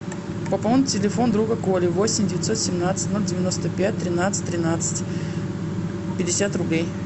пополнить телефон друга коли восемь девятьсот семнадцать ноль девяносто пять тринадцать тринадцать пятьдесят рублей